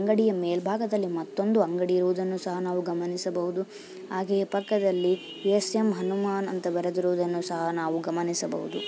ಅಂಗಡಿಯ ಮೇಲ್ಭಾಗದಲ್ಲಿ ಮತ್ತೊಂದು ಅಂಗಡಿ ಇರುವುದನ್ನು ನಾವು ಗಮನಿಸಬಹುದು ಹಾಗೆಯೇ ಪಕ್ಕದಲ್ಲಿ ಎ.ಸಿ.ಎಂ. ಹನುಮಾನ್ ಅಂತ ಬರೆದಿರುವುದನ್ನು ಸಹ ನಾವು ಗಮನಿಸಬಹುದು.